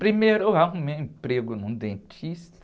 Primeiro eu arrumei emprego num dentista.